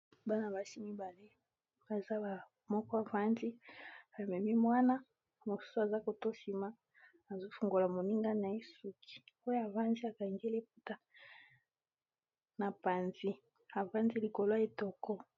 bana basi mibale ,moko afandi amemi mwana mosusu aza na sima azokanga moninga suki oyo afandi akange liputa na panzi afandi likolo y etoko.